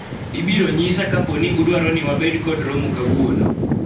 ibiro nyisa kapo ni udwaro ni wabed kor romo kawuono